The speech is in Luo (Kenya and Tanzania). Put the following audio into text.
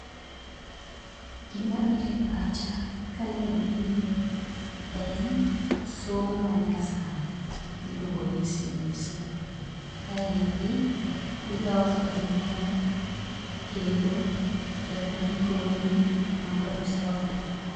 Gimabiro e pacha kaneno gini en somo manyasani miluongo ni CBC. Kaendi iloso gimoro kendo japuonj konyi mondo isome.